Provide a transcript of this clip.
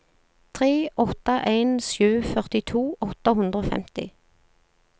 tre åtte en sju førtito åtte hundre og femti